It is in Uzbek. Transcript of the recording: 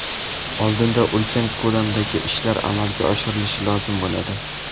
Oldinda ulkan ko‘lamdagi ishlar amalga oshirilishi lozim bo‘ladi.